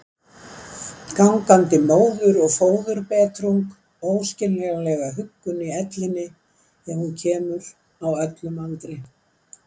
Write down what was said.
Gangandi móður- og föðurbetrung, óskiljanlega huggun í ellinni ef hún kemur, á öllum aldri.